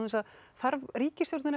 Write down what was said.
þarf ríkisstjórnin